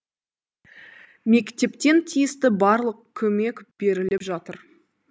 мектептен тиісті барлық көмек беріліп жатыр